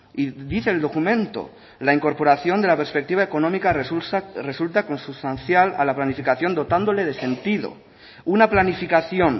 y dice el documento la incorporación de la perspectiva económica resulta consustancial a la planificación dotándole de sentido una planificación